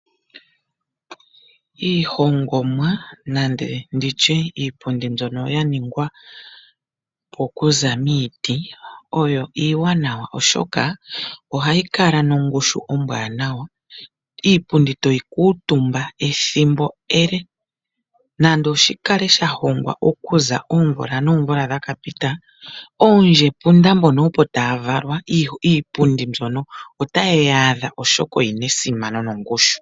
Iihongomwa nande nditye iipundi mbyono ya ningwapo oku za miiti oyo iiwanawa oshoka oha yi kala nongoshu ombwanawa. Iipundi to yi kuutumba ethimbo ele, nande shi kale sha hongwa okuza oomvula noomvula dhakapita , oondjepunda mbono opo ta ya valwa, iipundi mbyono ota ye yi adha, oshoka oyi na esimano nongushu.